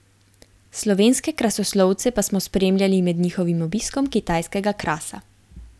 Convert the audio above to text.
Slovenske krasoslovce pa smo spremljali med njihovim obiskom kitajskega krasa.